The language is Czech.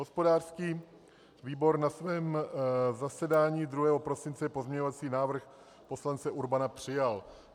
Hospodářský výbor na svém zasedání 2. prosince pozměňovací návrh poslance Urbana přijal.